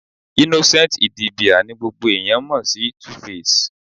Innocent Idibia ni gbogbo ẹ̀yán mọ̀ sí Tuface.